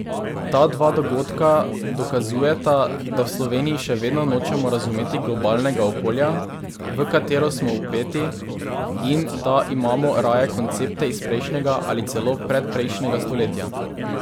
Ta dva dogodka dokazujeta, da v Sloveniji še vedno nočemo razumeti globalnega okolja, v katero smo vpeti, in da imamo raje koncepte iz prejšnjega ali celo predprejšnjega stoletja.